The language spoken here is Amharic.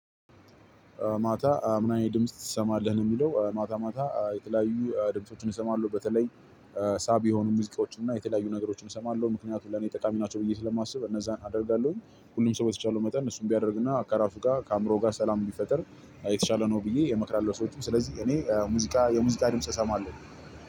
ማታ ምን አይነት ድምጽ ትሰማለህ ነው የሚለው? ማታ ማታ የተለያዩ ድምፆችን እሰማለሁ በተለይ ሳቢ የሆኑ ሙዚቃዎችና የተለያዩ ነገሮችን እሰማለሁ። ምክንያቱም ለኔ ጠቃሚ ናቸው ብዬ ስለማስብ እነዛን አደርጋለሁ። ሁሉም ሰው በተቻለው መጠን እሱን ቢያደርግና ከራሱ ጋር ከአዕምሮው ጋር ሰላም ቢፈጥር የተሻለ ነው ብዬ እመክራለሁ። ሰዎችን ስለዚህ እኔ ሙዚቃ የሙዚቃ ድምጽ እሰማለሁ።